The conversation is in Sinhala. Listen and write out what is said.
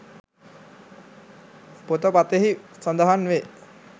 පොත පතෙහි සඳහන් වේ